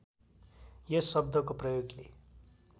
यस शब्दको प्रयोगले